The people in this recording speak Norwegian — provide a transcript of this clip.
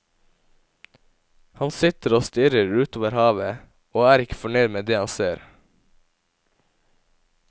Han sitter og stirrer utover havet, og er ikke fornøyd med det han ser.